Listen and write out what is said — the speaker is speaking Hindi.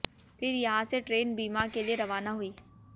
फिर यहां से ट्रेन बीना के लिए रवाना हुई